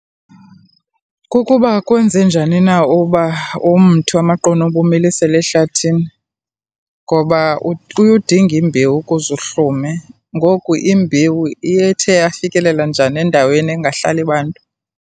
Kukuba kwenze njani na uba umthi wamaqunube umilisele ehlathini? Ngoba uye udinge imbewu ukuze uhlume. Ngoku imbewu iye yafikelela njani endaweni engahlali bantu?